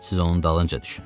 Siz onun dalınca düşünün.